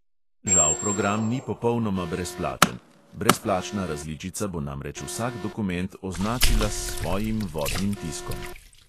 Žal program ni popolnoma brezplačen – brezplačna različica bo namreč vsak dokument označila s svojim vodnim tiskom.